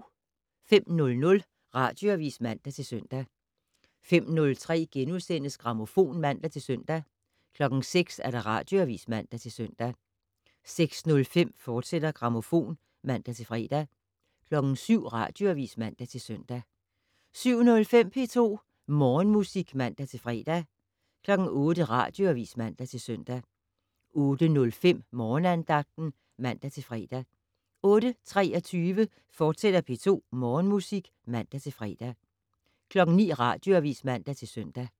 05:00: Radioavis (man-søn) 05:03: Grammofon *(man-søn) 06:00: Radioavis (man-søn) 06:05: Grammofon, fortsat (man-fre) 07:00: Radioavis (man-søn) 07:05: P2 Morgenmusik (man-fre) 08:00: Radioavis (man-søn) 08:05: Morgenandagten (man-fre) 08:23: P2 Morgenmusik, fortsat (man-fre) 09:00: Radioavis (man-søn)